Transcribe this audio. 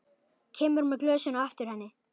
Kemur með glösin á eftir henni.